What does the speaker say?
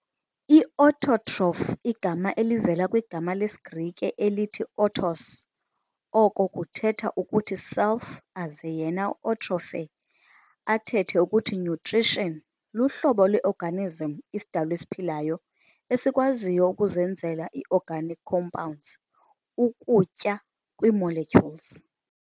I-autotroph, igama elivela kwigama leGrike "elithi autos" oko kuthetha ukuthi self aze yena u-"trophe" athethe ukuthi nutrition, luhlobo lwe-organism, isidalwa esiphilayo, esikwaziyo ukuzenzela ii-organic compounds, ukutya, kwii-molecules.